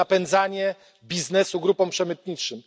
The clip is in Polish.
To jest napędzanie biznesu grupom przemytniczym.